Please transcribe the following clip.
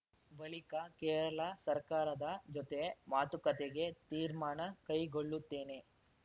ಬಳಿಕ ಕೇರಳ ಸರ್ಕಾರದ ಜೊತೆ ಮಾತುಕತೆಗೆ ತೀರ್ಮಾನ ಕೈಗೊಳ್ಳುತ್ತೇನೆ